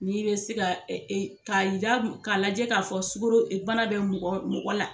Min bɛ se ka k'a yira k'a lajɛ k'a fɔ sukaro bana bɛ mɔgɔ mɔgɔ la.